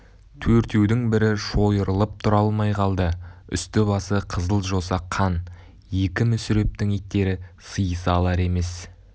төртеудің бірі шойырылып тұра алмай қалды үсті-басы қызыл жоса қан екі мүсірептің иттері сыйыса алар емес